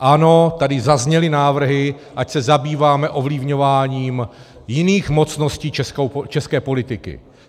Ano, tady zazněly návrhy, ať se zabýváme ovlivňováním jiných mocností české politiky.